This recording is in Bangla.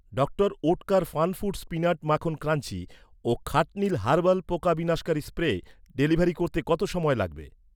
ডক্টর ওটকার ফানফুডস পিনাট মাখন ক্রাঞ্চি ও খাটনিল হার্বাল পোকা বিনাশকারী স্প্রে ডেলিভারি করতে কত সময় লাগবে?